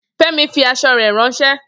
Femi fi aṣọ rè ránsẹ́